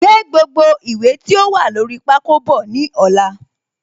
Gbé gbogbo ìwé tí ó wà lórí pákó bọ̀ ní ọ̀la